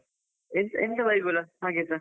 ಎಂತ ಬೈಗುಳ ಹಾಗೆಸ.